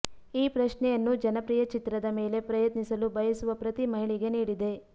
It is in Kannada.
ಈ ಪ್ರಶ್ನೆಯನ್ನು ಜನಪ್ರಿಯ ಚಿತ್ರದ ಮೇಲೆ ಪ್ರಯತ್ನಿಸಲು ಬಯಸುವ ಪ್ರತಿ ಮಹಿಳೆಗೆ ನೀಡಿದೆ